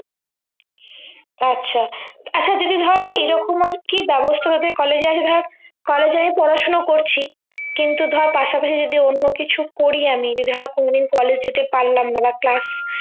আচ্ছা আচ্ছা দিদিভাই এরকম আরকি ব্যবস্থা তোমাদের college এ আছে ধর college এ আমি পড়াশুনা করছি কিন্তু ধরে পাশাপাশি যদি অন্য কিছু করি আমি যদি ধর কোনো দিন college যেতে পারলাম না বা class